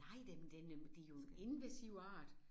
Nej den den det jo en invasiv art